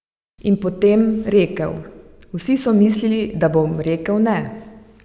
In potem rekel: "Vsi so mislili, da bom rekel ne.